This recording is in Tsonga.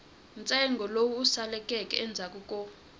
ntsengo lowu saleleke endzhaku ko